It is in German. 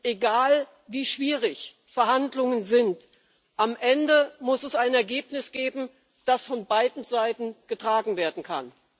Egal, wie schwierig Verhandlungen sind Am Ende muss es ein Ergebnis geben, das von beiden Seiten getragen werden kann.